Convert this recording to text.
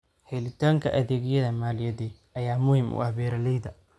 Helitaanka adeegyada maaliyadeed ayaa muhiim u ah beeralayda.